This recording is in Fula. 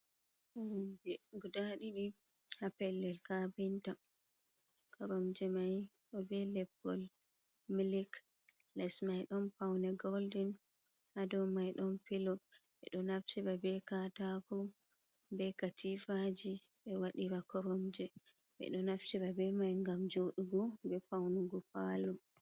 Koromje guda ɗiɗi ha pellel kafinta. Koronjemai ɗo be leppol milik, les mai don paune goldin, hado mai don pilo bedo naftira be katako, be katifaji be wadira koromje. Bedo naftira be mai gam jooɗugo be paunugo paloo.